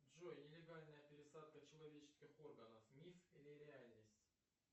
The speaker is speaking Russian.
джой нелегальная пересадка человеческих органов миф или реальность